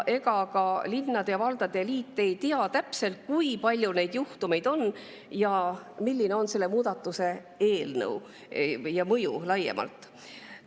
Ega ka linnade ja valdade liit ei tea täpselt, kui palju neid juhtumeid on ja milline on selle muudatuse, selle eelnõu mõju laiemalt.